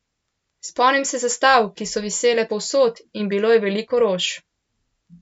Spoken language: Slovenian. Spomnim se zastav, ki so visele povsod, in bilo je veliko rož.